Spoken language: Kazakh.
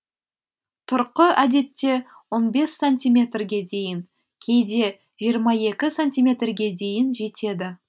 тұрқы әдетте он бес сантиметрге дейін кейде жиырма екі сантиметрге дейін жетеді